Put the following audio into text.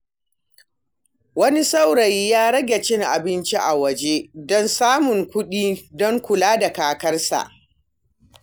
Wani saurayi ya rage cin abinci a waje don samun kuɗi don kula da kakarsa.